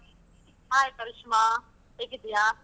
Hai Karishma, ಹೇಗಿದ್ದಿಯಾ?